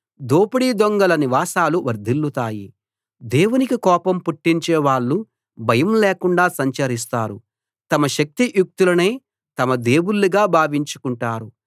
దోపిడీ దొంగల నివాసాలు వర్ధిల్లుతాయి దేవునికి కోపం పుట్టించేవాళ్ళు భయం లేకుండా సంచరిస్తారు తమ శక్తి యుక్తులనే తమ దేవుళ్ళుగా భావించుకుంటారు